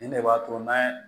Nin de b'a to n'a